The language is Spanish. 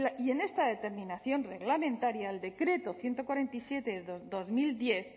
y en esta determinación reglamentaria el decreto ciento cuarenta y siete barra dos mil diez